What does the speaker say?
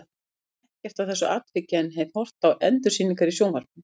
Ég man ekkert eftir þessu atviki en hef horft á endursýningar í sjónvarpinu.